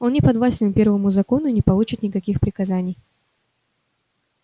он не подвластен первому закону и не получит никаких приказаний